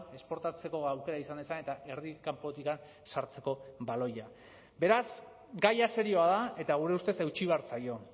esportatzeko aukera izan dezan eta erdi kanpotik sartzeko baloia beraz gaia serioa da eta gure ustez eutsi behar zaio